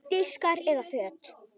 Diskar eða föt?